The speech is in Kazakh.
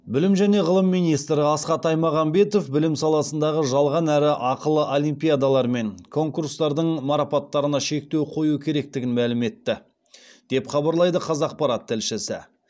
білім және ғылым министрі асхат аймағамбетов білім саласындағы жалған әрі ақылы олимпиадалар мен конкурстардың марапаттарына шектеу қою керектігін мәлім етті деп хабарлайды қазақпарат тілшісі